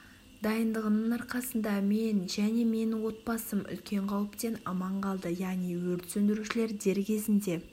дайындығының арқасында мен және менің отбасым үлкен қауіптен аман қалды яғни өрт сөндірушілер дер кезінде